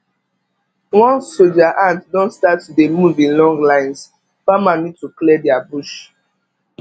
once soldier ant don start dey move in long lines farmer need to clear their bush